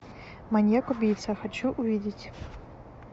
маньяк убийца хочу увидеть